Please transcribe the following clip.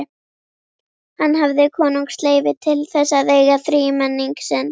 Hann hafði konungsleyfi til þess að eiga þrímenning sinn.